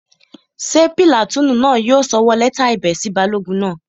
Ṣé pìlàtúùnù náà yóò sọwọ́ lẹ́tà ẹ̀bẹ̀ sí balógun náà?